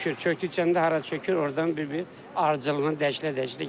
Çökdükcə də hara çökür, ordan bir-bir ardıcıllığına dəyişilə-dəyişilə gedir.